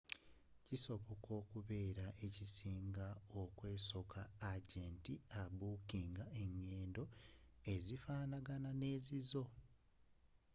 kisobola okubeera ekisinga okwesooka agenti abookinga engendo ezifaanagana ne zizo